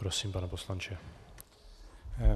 Prosím, pane poslanče.